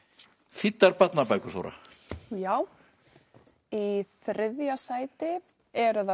þýddar barnabækur Þóra já í þriðja sæti er það